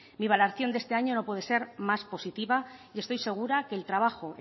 mi evaluación de este año no puede ser más positiva y estoy segura de que el trabajo